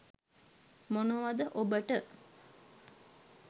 මොනවද ඔබට